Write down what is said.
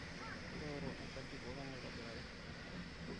tooro enkaji pokin aitobiraki